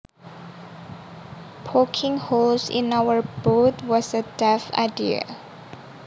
Poking holes in our boat was a daft idea